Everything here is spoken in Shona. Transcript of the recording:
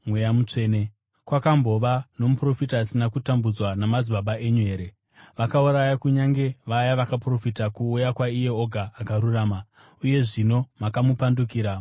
Kwakambova nomuprofita asina kutambudzwa namadzibaba enyu here? Vakauraya kunyange vaya vakaprofita kuuya kwaIye Oga Akarurama. Uye zvino makamupandukira mukamuuraya,